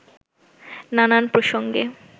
নানান প্রসঙ্গে